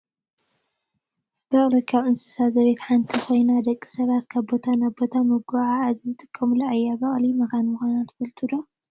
በቅሊ ካብ እንስሳ ዘቤት ሓንቲ ኮይና ደቂ ሰባት ካብ ቦታ ናብ ቦታ መጓዓዓዚ ዝጥቀሙላ እያ። በቅሊ መካን ምኳና ትፈልጡ ዶ ?